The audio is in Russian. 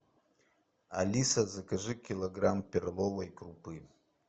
алиса закажи килограмм перловой крупы